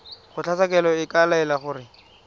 kgotlatshekelo e ka laela gore